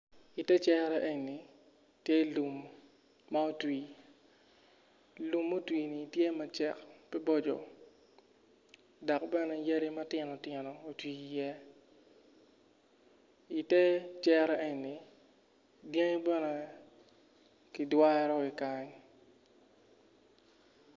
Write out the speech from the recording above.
I te cere tye lum ma otwi lum mutwi ni tye ma cego ki maboco dok bene yadi matino tino oti iye i te cere eni dyangi bene ki dwaro ki kany.